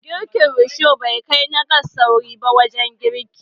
Girkin Risho bai kai na gas sauri ba wajen girki